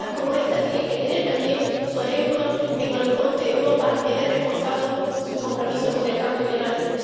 Iniciativas como esta tienen que tener también su ejemplo en Horizonte Europa, que verá así reforzado su compromiso con el cambio climático.